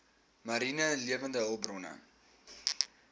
mariene lewende hulpbronne